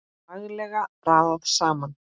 Laglega raðað saman!